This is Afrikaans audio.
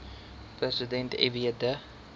president fw de